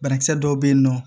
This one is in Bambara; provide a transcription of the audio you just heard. Banakisɛ dɔw bɛ yen nɔ